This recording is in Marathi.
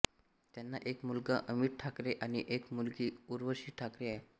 त्यांना एक मुलगा अमित ठाकरेआणि एक मुलगी उर्वशी ठाकरे आहे